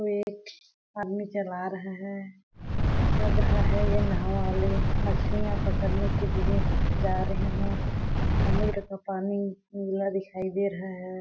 एक आदमी चला रहा है लग रहा है ये नाव वाले मछलियाँ पकड़ ने के लिए जा रहे है समुन्द्र का पानी नीला दिखाई दे रहा है।